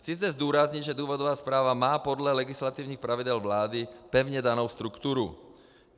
Chci zde zdůraznit, že důvodová zpráva má podle legislativních pravidel vlády pevně danou strukturu.